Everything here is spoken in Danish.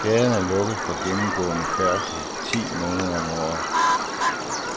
Gaden er lukket for gennemgående færdsel ti måneder om året,